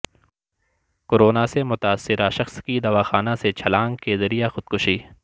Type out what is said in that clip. corona سے متاثرہ شخص کی دواخانہ سے چھلانگ کے ذریعہ خودکشی